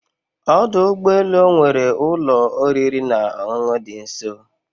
Ọdụ ụgbọ elu ọ nwere ụlọ oriri na ọṅụṅụ dị nso